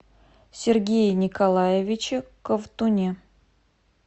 сергее николаевиче ковтуне